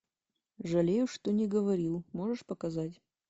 жалею что не говорил можешь показать